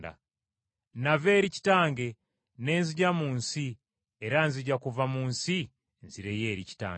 Nava eri Kitange ne nzija mu nsi era nzija kuva mu nsi nzireyo eri Kitange.”